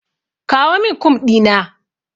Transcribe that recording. Kawo min Kum ɗina.